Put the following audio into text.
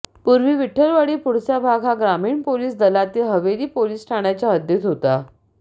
पूर्वी विठ्ठलवाडी पुढचा भाग हा ग्रामीण पोलीस दलातील हवेली पोलीस ठाण्याच्या हद्दीत होता